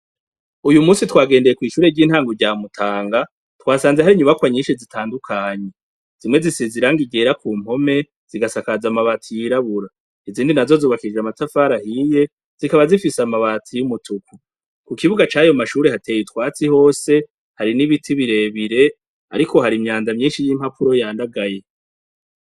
Uyumusi twagendeye kw'ishuri ryitango rya mutanga twasanze hari inyubakwa nyinshi zitandukanye, zimwe zisize irangi ryera kumpome zikasakaza n'amatabati yirabura, izindi nazo zubakije amatafari ahiye zikaba zikaba zifise amabati y'umutuku, kukibuga cayo mashuri hateye utwatsi hose hari n'ibiti birebire ariko hari imyanda myinshi y'impapuro yandagaye.